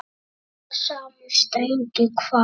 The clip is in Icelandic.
Stilla saman strengi hvað?